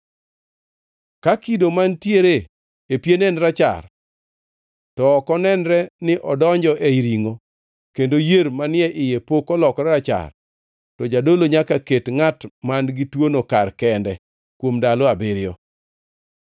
Ka kido mantiere e piene en rachar to ok onenre ni odonjo ei ringʼo kendo yier manie iye pok olokore rachar, to jadolo nyaka ket ngʼat man-gi tuono kar kende kuom ndalo abiriyo.